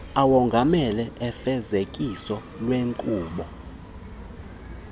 awongamele ufezekiso lweenkqubo